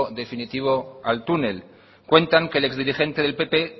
definitivo al túnel cuentan que el ex dirigente del pp